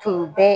Tun bɛ